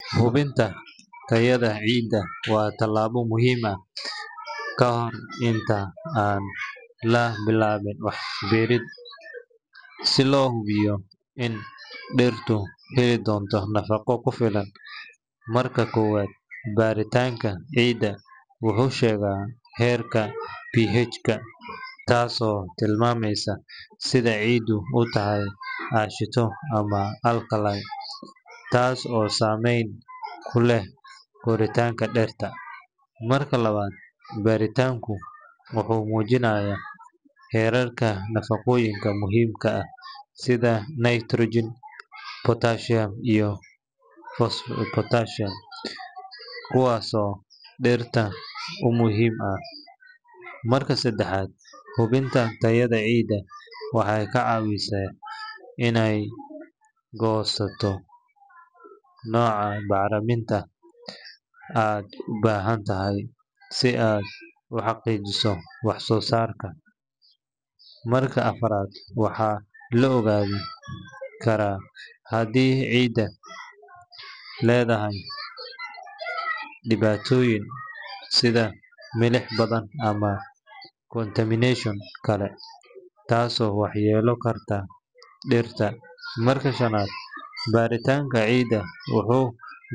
Hubinta tayada ciidda waa tallaabo muhiim ah ka hor inta aan la bilaabin wax beero, si loo hubiyo in dhirtu heli doonto nafaqo ku filan. Marka koowaad, baaritaanka ciidda wuxuu sheegaa heerka pH-ga, taasoo tilmaamaysa sida ciiddu u tahay aashito ama alkaline, taas oo saameyn ku leh koritaanka dhirta. Marka labaad, baaritaanku wuxuu muujinayaa heerarka nafaqooyinka muhiimka ah sida nitrogen, phosphorus, iyo potassium kuwaasoo dhirta u muhiim ah. Marka saddexaad, hubinta tayada ciidda waxay kaa caawinaysaa inaad go’aansato nooca bacriminta aad u baahan tahay si aad u hagaajiso wax-soo-saarka. Marka afraad, waxaa la ogaan karaa haddii ciiddu leedahay dhibaatooyin sida milix badan ama contamination kale, taasoo waxyeelayn karta dhirta. Marka shanaad, baaritaanka ciidda wuxuu.